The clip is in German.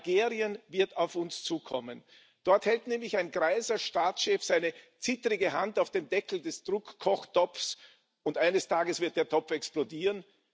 Algerien wird auf uns zukommen. Dort hält nämlich ein greiser Staatschef seine zittrige Hand auf dem Deckel des Druckkochtopfes, und eines Tages wird der Topf explodieren.